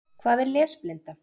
Hvað er lesblinda?